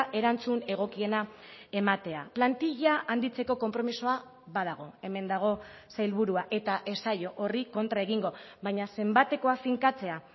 erantzun egokiena ematea plantilla handitzeko konpromisoa badago hemen dago sailburua eta ez zaio horri kontra egingo baina zenbatekoa finkatzea